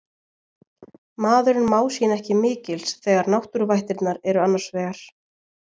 Maðurinn má sín ekki mikils þegar náttúruvættirnar eru annars vegar